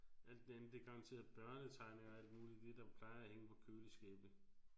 Alt det andet det er garanteret børnetegninger og alt muligt det der plejer at hænge på køleskabe